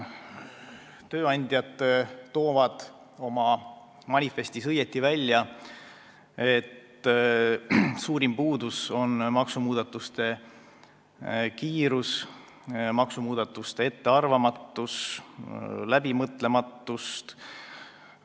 Tööandjad toovad oma manifestis õigesti välja, et suurim puudus on maksumuudatuste kiirus, ettearvamatus ja läbimõtlematus.